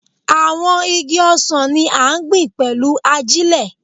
Àwọn igi ọsàn ni a gbìn pẹ̀lú ajílẹ̀